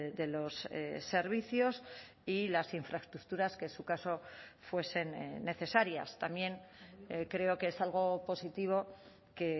de los servicios y las infraestructuras que en su caso fuesen necesarias también creo que es algo positivo que